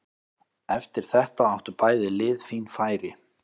Eftir þetta áttu bæði lið fín færi.